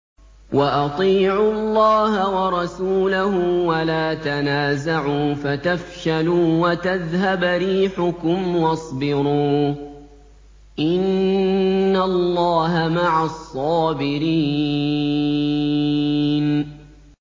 وَأَطِيعُوا اللَّهَ وَرَسُولَهُ وَلَا تَنَازَعُوا فَتَفْشَلُوا وَتَذْهَبَ رِيحُكُمْ ۖ وَاصْبِرُوا ۚ إِنَّ اللَّهَ مَعَ الصَّابِرِينَ